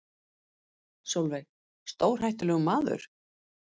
Sólveig: Stórhættulegur maður?